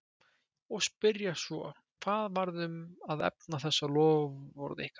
Og spyrja svo, hvað varð um að efna þessi loforð ykkar?